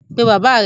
Pe baba rẹ!